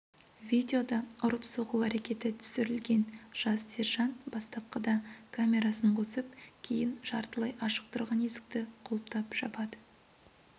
видеода ұрып-соғу әрекеті түсірілген жас сержант бастапқыда камерасын қосып кейін жартылай ашық тұрған есікті құлыптап жабады